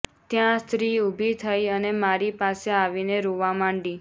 ત્યાં સ્ત્રી ઉભી થઇ અને મારી પાસે આવીને રોવા માંડી